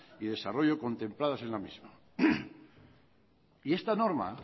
y desarrollo contempladas en la misma y esta norma